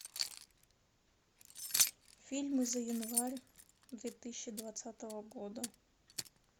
фильмы за январь две тысячи двадцатого года